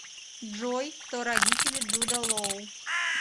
джой кто родители джуда лоу